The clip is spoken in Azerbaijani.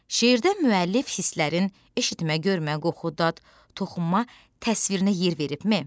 Şeirdə müəllif hisslərin eşitmə, görmə, qoxu, dad, toxunma təsvirinə yer veribmi?